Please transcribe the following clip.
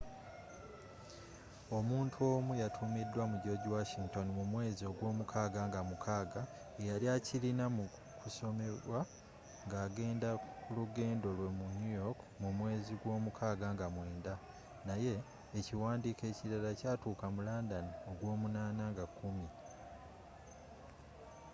omuntu omu yatumidwa mu george washington mu mwezi ogw'omukaga nga 6 eyali akirina mu kusomebwa nga agenda kulugendo lwe mu new york mu mwezi gw'omukaga nga 9 naye ekiwandiiko ekilala kyatuka mu london ogw'omunana nga 10